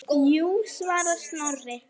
Jú svarar Snorri.